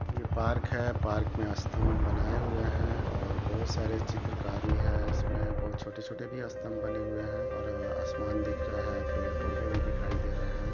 ये पार्क है पार्क में स्तम्भ बनाये हुए है और बहुत सारे चित्रकारी है इसमें बहुत छोटे छोटे भी स्तंम्भ बने हुए है और आसमान दिख रहा है पेड़ पौधे भी दिखाई दे रहे है।